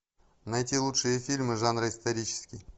найти лучшие фильмы жанра исторический